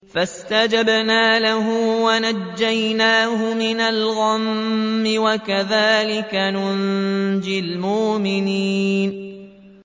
فَاسْتَجَبْنَا لَهُ وَنَجَّيْنَاهُ مِنَ الْغَمِّ ۚ وَكَذَٰلِكَ نُنجِي الْمُؤْمِنِينَ